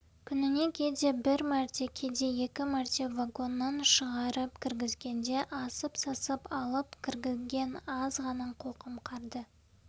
күніне кейде бір мәрте кейде екі мәрте вагоннан шығарып-кіргізгенде асып-сасып алып кірген аз ғана қоқым қарды